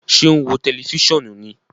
Ṣe o n wo tẹlifisiọnu ní?